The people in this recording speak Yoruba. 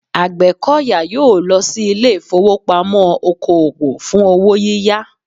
Àgbẹ̀kọ̀yà yóò lọ sí ilé ìfowópamọ́ oko òwò fún owó yíyá